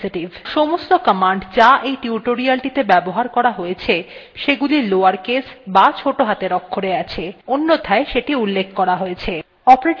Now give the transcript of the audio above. সমস্ত commands যা এই টিউটোরিয়ালটিতে ব্যবহার করা হয়ছে সেগুলি lower case বা ছোটো হাতের অক্ষরে আছে অন্যথায় সেটি উল্লেখ করা হয়েছে